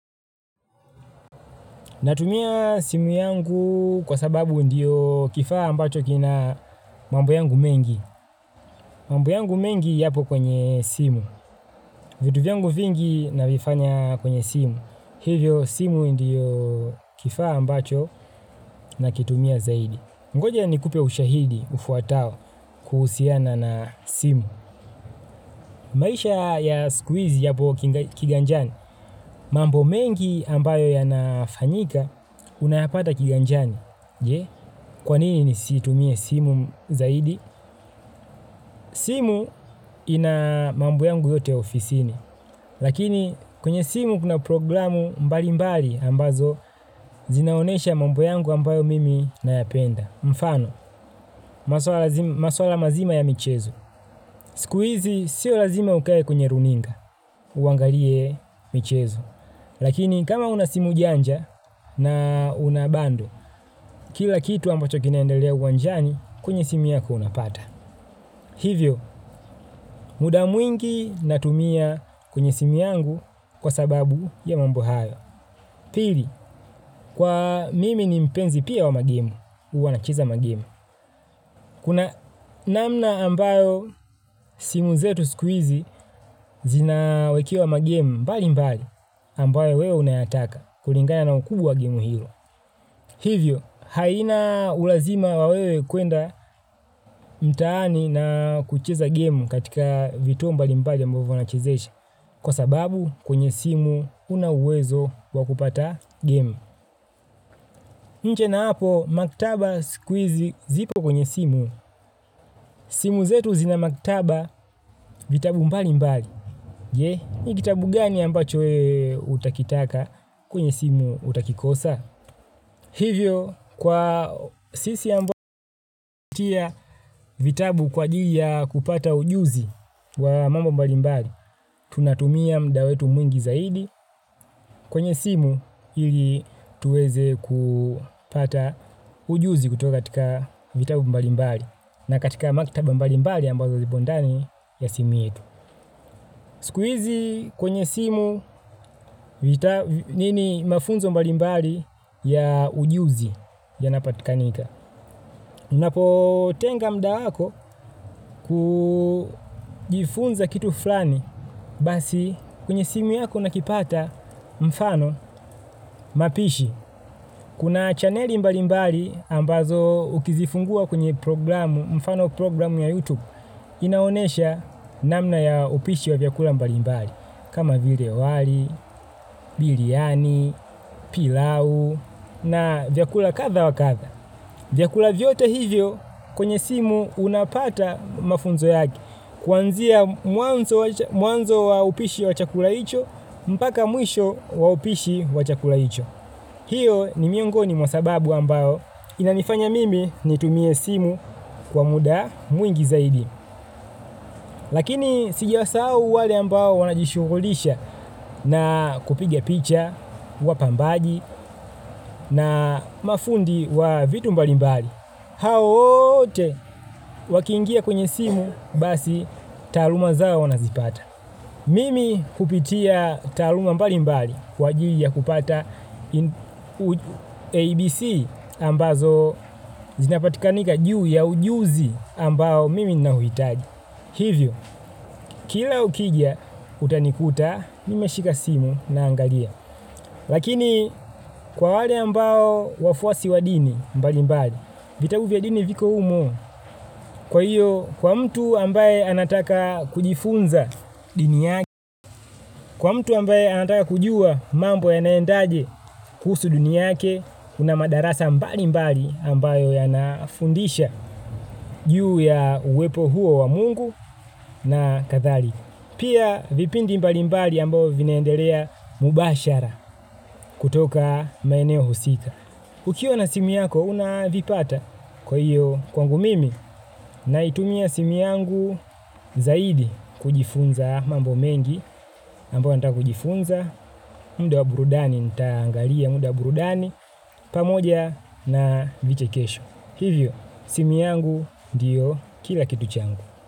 Natumia simu yangu kwa sababu ndiyo kifaa ambacho kina mambo yangu mengi. Mambo yangu mengi yapo kwenye simu. Vitu vyangu vingi navifanya kwenye simu. Hivyo simu ndiyo kifaa ambacho nakitumia zaidi ngoja nikupe ushahidi ufuatao kuhusiana na simu. Maisha ya sikuhizi yapo kiganjani. Mambo mengi ambayo yanafanyika unayapata kiganjani. Je, kwanini nisitumie simu zaidi? Simu ina mambo yangu yote ofisini, lakini kwenye simu kuna programu mbalimbali ambazo zinaonesha mambo yangu ambayo mimi nayapenda. Mfano, maswala mazima ya michezo. Sikuhizi, sio lazima ukae kwenye runinga. Uangalie michezo. Lakini, kama una simu janja na unabandle kila kitu ambacho kinaendelea uwanjani, kwenye simu yako unapata. Hivyo, muda mwingi natumia kwenye simu yangu kwa sababu ya mambo hayo. Pili, kwa mimi ni mpenzi pia wa magimu. Huwa nacheza magemu. Kuna namna ambayo simu zetu siku hizi zinawekewa magemu mbali mbali ambayo wewe unayataka kulingana na ukuu wa gemu hilo. Hivyo, haina ulazima wa wewe kuenda mtaani na kucheza game katika vituo mbali mbali ambayo wanachezesha kwa sababu kwenye simu una uwezo wa kupata game. Nje na hapo maktaba sikuhizi zipo kwenye simu. Simu zetu zina maktaba vitabu mbali mbali. Je, ni kitabu gani ambacho wewe utakitaka kwenye simu utakikosa? Hivyo kwa sisi ambayo hutia vitabu kwa ajili ya kupata ujuzi wa mambo mbalimbali, tunatumia muda wetu mwingi zaidi kwenye simu ili tuweze kupata ujuzi kutoka katika vitabu mbalimbali na katika makitaba mbalimbali ambazo zipo ndani ya simu yetu. Sikuhizi kwenye simu nini mafunzo mbalimbali ya ujuzi yanapatikanika. Unapo tenga muda wako kujifunza kitu fulani basi kwenye simu yako nakipata mfano mapishi. Kuna chaneli mbalimbali ambazo ukizifungua kwenye programu mfano programu ya YouTube. Inaonesha namna ya upishi wa vyakula mbali mbali. Kama vile wali, biriani, pilau na vyakula kadha wa kadha. Vyakula vyote hivyo kwenye simu unapata mafunzo yake kuanzia mwanzo wa upishi wa chakula hicho mpaka mwisho wa upishi wa chakula hicho. Hiyo ni miongoni mwa sababu ambayo inanifanya mimi nitumie simu kwa muda mwingi zaidi. Lakini sijawasahau wale ambayo wanajishughulisha na kupiga picha, wapambagi na mafundi wa vitu mbalimbali. Hao wote wakiingia kwenye simu basi taluma zao wanazipata. Mimi kupitia taluma mbalimbali kwa ajili ya kupata ABC ambazo zinapatikanika juu ya ujuzi ambao mimi nina huhitaji. Hivyo, kila ukija utanikuta mimeshika simu na angalia. Lakini kwa wale ambao wafuasi wa dini mbali mbali, vita vya udini viko humo kwa hiyo kwa mtu ambaye anataka kujifunza dini yake, kwa mtu ambaye anataka kujua mambo ya naendaje kuhusu dini yake, kuna madarasa mbalimbali ambayo yanafundisha juu ya uwepo huo wa mungu na kadhalika. Pia vipindi mbalimbali ambayo vinaendelea mubashara kutoka maeneo husika. Ukiwa na simu yako unavipata kwa hiyo kwangu mimi naitumia simu yangu zaidi kujifunza mambo mengi ambayo nataka kujifunza. Muda wa burudani nitaangalia muda wa burudani pamoja na vichekesho. Hivyo simu yangu ndiyo kila kitu changu.